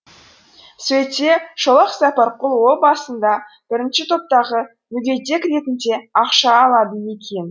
сөйтсе шолақ сапарқұл о басында бірінші топтағы мүгедек ретінде ақша алады екен